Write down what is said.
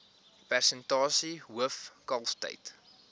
persentasie hoof kalftyd